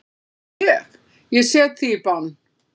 Ég. ég set þig í bann!